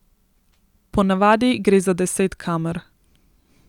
Ponavadi gre za deset kamer.